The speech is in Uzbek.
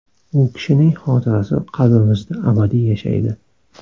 U kishining xotirasi qalbimizda abadiy yashaydi.